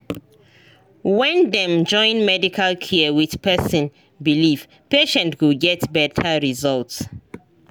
when dem join medical care with person believe patient go get better results